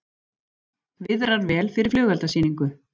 Viðrar vel fyrir flugeldasýningu